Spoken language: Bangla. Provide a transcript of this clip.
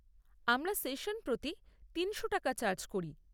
আমরা সেশন প্রতি তিনশো টাকা চার্জ করি।